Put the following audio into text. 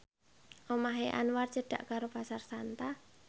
omahe Anwar cedhak karo Pasar Santa